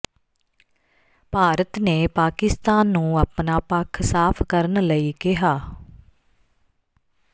ਭਾਰਤ ਨੇ ਪਾਕਿਸਤਾਨ ਨੂੰ ਆਪਣਾ ਪੱਖ ਸਾਫ ਕਰਨ ਲਈ ਕਿਹਾ